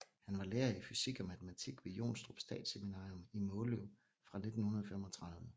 Han var lærer i fysik og matematik ved Jonstrup Statsseminarium i Måløv fra 1935